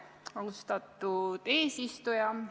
Austatud eesistuja!